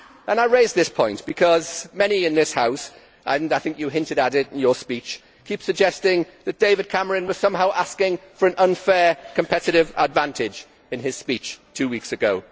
I raise this point because many in this House and I think you hinted at it in your speech keep suggesting that David Cameron was somehow asking for an unfair competitive advantage in his speech two weeks ago.